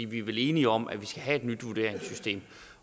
vi er vel enige om at vi skal have et nyt vurderingssystem